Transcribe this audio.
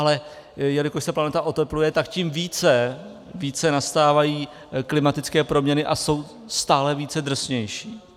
Ale jelikož se planeta otepluje, tak tím více nastávají klimatické proměny a jsou stále více drsnější.